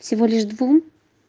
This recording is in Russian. всего лишь двум